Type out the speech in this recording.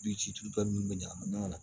Du ci tubabu nunnu bɛ ɲagami ɲɔgɔn na